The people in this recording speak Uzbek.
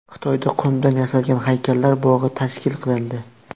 Xitoyda qumdan yasalgan haykallar bog‘i tashkil qilindi.